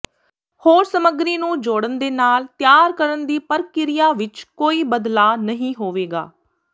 ਹੋਰ ਸਮੱਗਰੀ ਨੂੰ ਜੋੜਨ ਦੇ ਨਾਲ ਤਿਆਰ ਕਰਨ ਦੀ ਪ੍ਰਕਿਰਿਆ ਵਿੱਚ ਕੋਈ ਬਦਲਾਅ ਨਹੀਂ ਹੋਵੇਗਾ